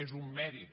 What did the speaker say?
és un mèrit